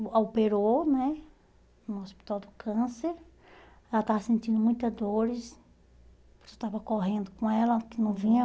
a operou né no Hospital do Câncer, ela estava sentindo muitas dores, a pessoa estava correndo com ela, que não vinha.